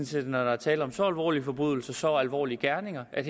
set når der er tale om så alvorlige forbrydelser og så alvorlige gerninger at